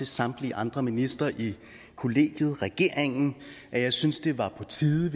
samtlige andre ministre i kollegiet regeringen og jeg synes det var på tide